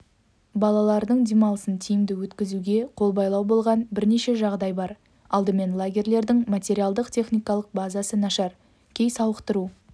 балалардың демалысын тиімді өткізуге қолбайлау болған бірнеше жағдай бар алдымен лагерьлердің материалдық-техникалық базасы нашар кей сауықтыру